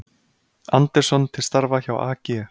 Andersson til starfa hjá AG